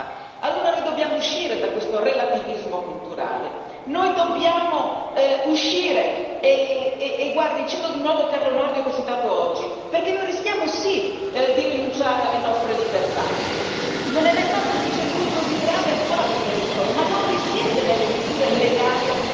Noi dobbiamo uscire e cito di nuovo Carlo Nordio, che ho citato oggi, perché noi rischiamo proprio di rinunciare alle nostre libertà Non è mai stato sostiene Nordio così grave e attuale il pericolo, che non risiede nelle misure legali annunciate da Parigi o in quelle anche più restrittive in corso di studio e approvazione.